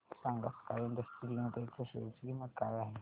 सांगा Sky Industries Limited च्या share ची किंमत काय आहे